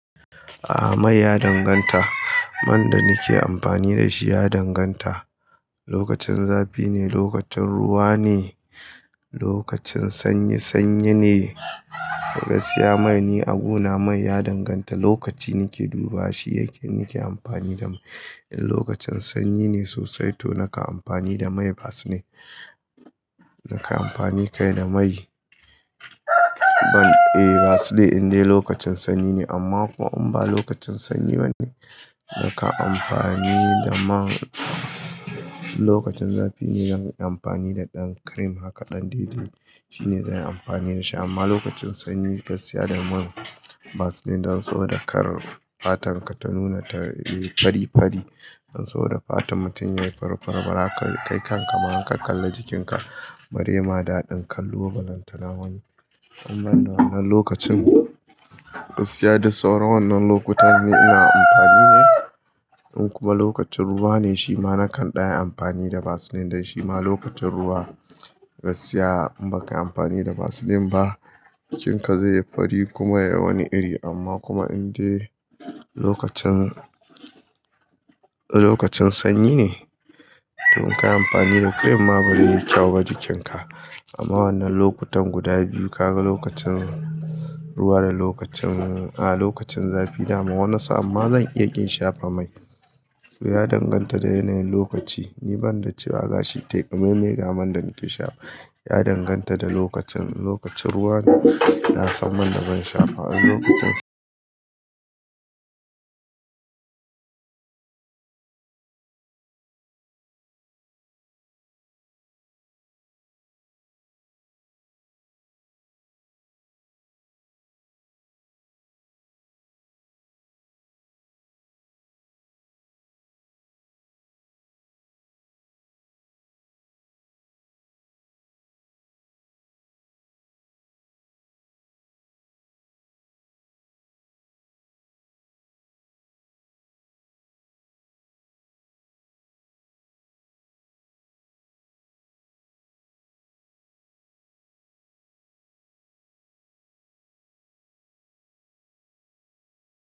A mai ya danganta. Man da nake amfani da shi ya danganta. Lokacin zafi ne, lokacin ruwa ne, lokacin sanyi-sanyi ne. Gaskiya mai ni a guna mai ya danganta. Lokaci nake dubawa shi yake, nike amfani da mai. In lokacin sanyi ne sosai to nakan amfani da mai vaseline. Nakan amfani kai da mai. Ban, vaseline in dai lokacin sanyi ne amma kuma in ba lokacin sanyi bane nakan amfani da man. Lokacin zafi ne zan yi amfani da ɗan cream hakan ɗan dai-dai. Shi ne zan yi amfani da shi amma lokacin sanyi gaskiya da man vaseline don saboda kar fatar ka ta nuna ta yi fari-fari. Don saboda fatar mutum yayi fari-fari bara ka, kai kan ka ma in ka kalla jikin ka. Bare ma daɗin kallo ba lantana wani. In banda wannan lokacin. Gaskiya duk sauran wannan lokutan ni ina amfani ne. In kuma lokacin ruwa ne shima nakan ɗan yi amfani da vaseline dan shi ma lokacin ruwa gaskiya in ba ka yi amfani da vaseline ba jikin ka zai yi fari kuma yayi wani iri amma kuma in dai lokacin. Lokacin sanyi ne to in ka yi amfani da cream ma bai yi kyau ba jikin ka. Amma wannan lokutan guda biyu ka ga lokacin ruwa da lokacin, a lokacin zafi da ma wannli sa'an ma zan iya ƙin shafa mai. To ya danganta da yanayin lokaci. Ni ban da cewa gashi tai ƙamaimai ga man da nake shafa. Ya danganta da lokacin, in lokacin ruwa ne na san man da zan shafa, in lokacin sanyi.